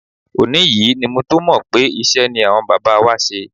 Òní yìí ni mo tó mọ̀ pé iṣẹ́ ni àwọn bàbá wa ṣe.